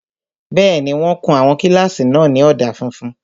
Bẹ́ẹ̀ni, wọ́n kun àwọn kílásì náà ní ọ̀dà funfun